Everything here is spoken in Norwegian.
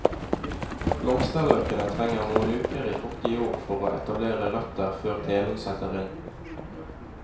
Blomsterløkene trenger noen uker i fuktig jord for å etablere røtter før telen setter inn.